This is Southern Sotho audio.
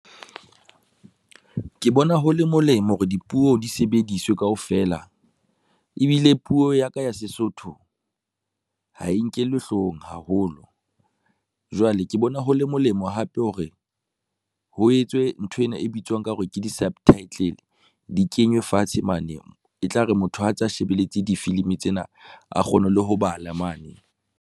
Ke bona ho le molemo hore dipuo di sebediswe kaofela ebile puo ya ka ya Sesotho ha e nkelwe hloohong haholo. Jwale ke bo ne ho le molemo hape hore ho etswe nthwena e bitswang ka hore ke di-subtitle di kenywe fatshe mane e tla re motho a tsa shebeletse difilimi tsena, a kgone le ho bala mane.